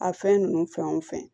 A fɛn ninnu fɛn o fɛn